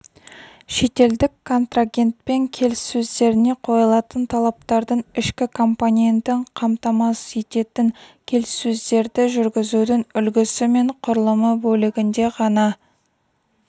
шетелдік контрагентпен келіссөздеріне қойылатын талаптардың ішкі компонентін қамтамасыз ететін келіссөздерді жүргізудің үлгісі мен құрылымы бөлігінде ғана